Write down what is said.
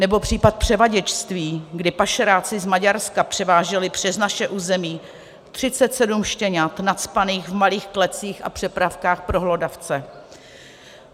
Nebo případ převaděčství, kdy pašeráci z Maďarska převáželi přes naše území 37 štěňat nacpaných v malých klecích a přepravkách pro hlodavce.